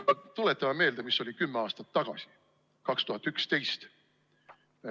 Aga tuletame meelde, mis oli kümme aastat tagasi – 2011.